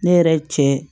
Ne yɛrɛ cɛ